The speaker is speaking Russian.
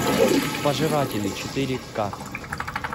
пожиратели четыре ка